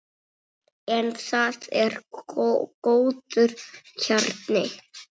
En það er góður kjarni.